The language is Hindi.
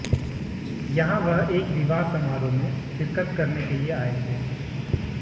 यहां वह एक विवाह समारोह में शिरकत करने के लिए आए थे